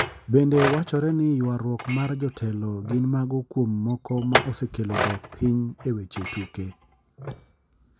Bende wachore ni yuaruok mar jotelo gin mago kuom moko ma osekelo dok piny e weche tuke.